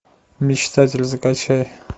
мечтатель закачай